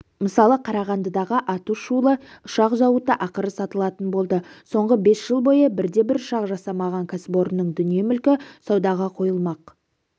мысалы қарағандыдағы аты-шулы ұшақ зауыты ақыры сатылатын болды соңғы бес жыл бойы бірде-бір ұшақ жасамаған кәсіпорынның дүние-мүлкі саудаға қойылмақ